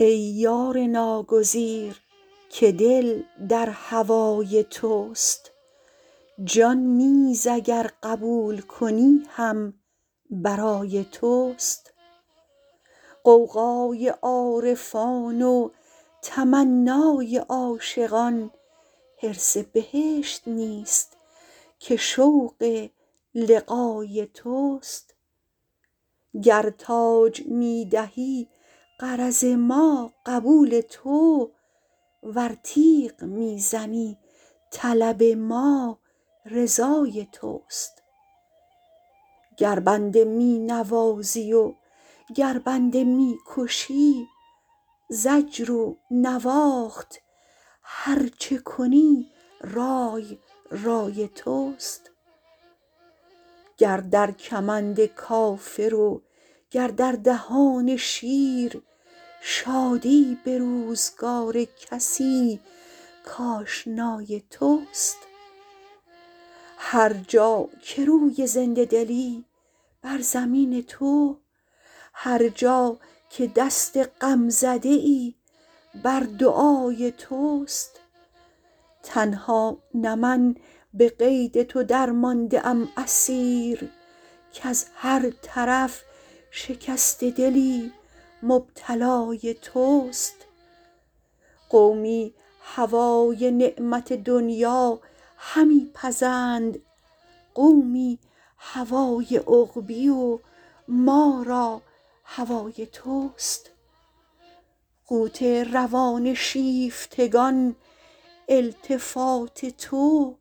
ای یار ناگزیر که دل در هوای توست جان نیز اگر قبول کنی هم برای توست غوغای عارفان و تمنای عاشقان حرص بهشت نیست که شوق لقای توست گر تاج می دهی غرض ما قبول تو ور تیغ می زنی طلب ما رضای توست گر بنده می نوازی و گر بنده می کشی زجر و نواخت هر چه کنی رای رای توست گر در کمند کافر و گر در دهان شیر شادی به روزگار کسی کآشنای توست هر جا که روی زنده دلی بر زمین تو هر جا که دست غمزده ای بر دعای توست تنها نه من به قید تو درمانده ام اسیر کز هر طرف شکسته دلی مبتلای توست قومی هوای نعمت دنیا همی پزند قومی هوای عقبی و ما را هوای توست قوت روان شیفتگان التفات تو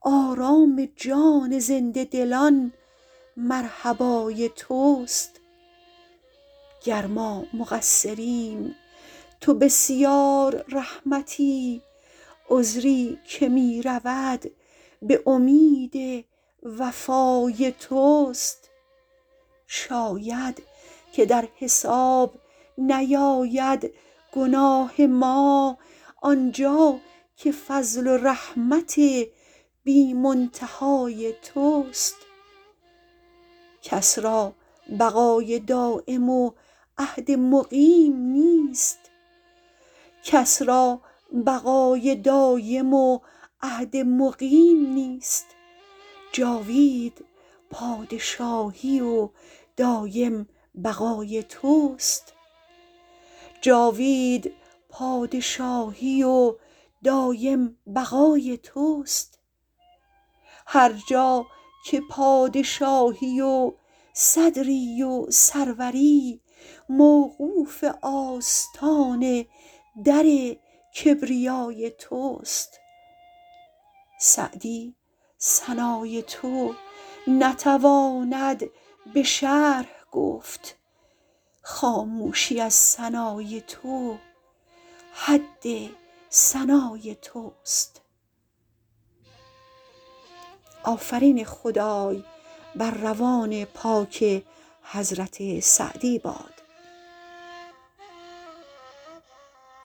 آرام جان زنده دلان مرحبای توست گر ما مقصریم تو بسیار رحمتی عذری که می رود به امید وفای توست شاید که در حساب نیاید گناه ما آنجا که فضل و رحمت بی منتهای توست کس را بقای دایم و عهد مقیم نیست جاوید پادشاهی و دایم بقای توست هر جا که پادشاهی و صدری و سروری موقوف آستان در کبریای توست سعدی ثنای تو نتواند به شرح گفت خاموشی از ثنای تو حد ثنای توست